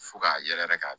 Fo k'a yɛrɛkɛ k'a